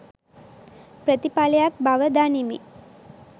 ප්‍රථිපලයක් බව දනිමි.